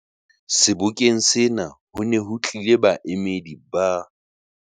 Sebokeng sena ho ne ho tlile baemedi ba